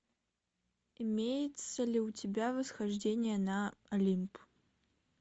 имеется ли у тебя восхождение на олимп